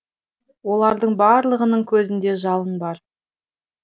олардың барлығының көзінде жалын бар